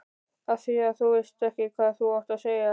Afþvíað þú veist ekki hvað þú átt að segja.